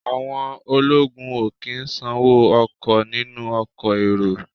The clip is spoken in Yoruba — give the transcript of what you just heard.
Àwọn ológun ò kí ń sanwó ọkọ̀ nínú ọkọ̀ èrò